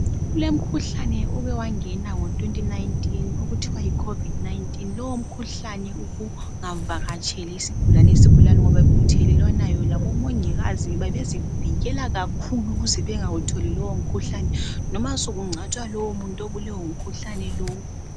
Kulomkhuhlane oke wangena ngo2019 okuthiwa yi Covid19,lowo mkhuhlane ubungavakatsheli isigulane isigulane ngoba bekuthelelwana yona omongikazi bebezivikela kakhulu ukuze bengawutholi lowo mkhuhlane noma sekungcwatshwa lo muntu obulewe ngumkhuhlane lo.